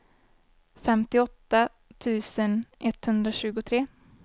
femtioåtta tusen etthundratjugotre